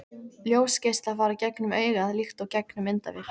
Ljósgeislar fara gegnum augað líkt og gegnum myndavél.